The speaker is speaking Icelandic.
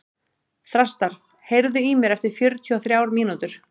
Þrastar, heyrðu í mér eftir fjörutíu og þrjár mínútur.